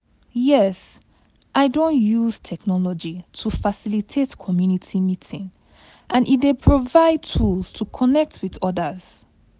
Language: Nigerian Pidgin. Yes, i don use technology to facilitate community meeting, and e dey provide tools to connect with odas.